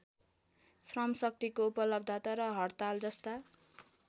श्रमशक्तिको उपलब्धता र हड्तालजस्ता